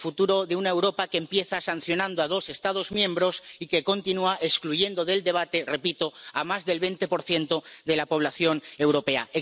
El futuro de una Europa que empieza sancionando a dos Estados miembros y que continúa excluyendo del debate ―repito― a más del 20 de la población europea.